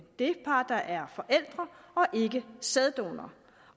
det par der er forældre og ikke sæddonoren